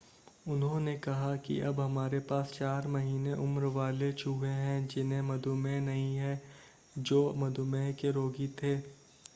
उन्होंने कहा कि अब हमारे पास 4 महीने उम्र वाले चूहे हैं जिन्हें मधुमेह नहीं है जो मधुमेह के रोगी थे।